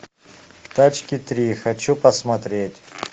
тачки три хочу посмотреть